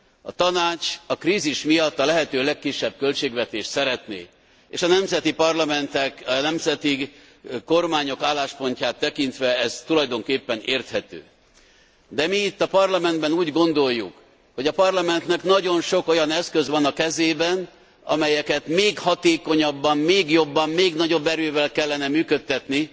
A Tanács a krízis miatt a lehető legkisebb költségvetést szeretné, és a nemzeti parlamentek, nemzeti kormányok álláspontját tekintve ez tulajdonképpen érthető. De mi itt a Parlamentben úgy gondoljuk, hogy a Parlamentnek nagyon sok olyan eszköz van a kezében, amelyeket még hatékonyabban, még jobban, még nagyobb erővel kellene működtetni